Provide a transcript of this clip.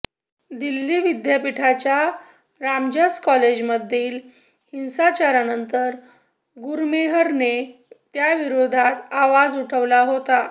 दिल्ली विद्यापीठाच्या रामजस कॉलेजमधील हिंसाचारानंतर गुरमेहरने त्याविरोधात आवाज उठवला होता